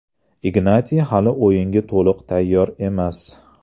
Ignatiy hali o‘yinga to‘liq tayyor emas.